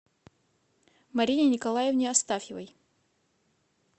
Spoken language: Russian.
марине николаевне астафьевой